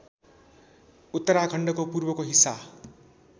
उत्तराखण्डको पूर्वको हिस्सा